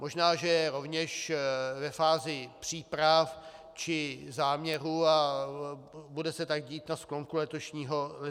Možná že je rovněž ve fázi příprav či záměru a bude se tak dít na sklonku letošního roku.